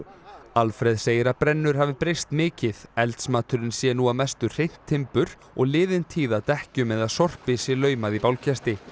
Alfreð segir að brennur hafi breyst mikið eldsmaturinn sé nú að mestu hreint timbur og liðin tíð að dekkjum eða sorpi sé laumað í bálkesti